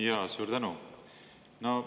Jaa, suur tänu!